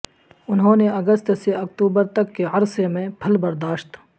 انہوں نے اگست سے اکتوبر تک کے عرصے میں پھل برداشت